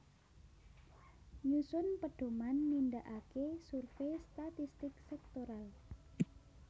Nyusun pedhoman nindakaké survei statistik sektoral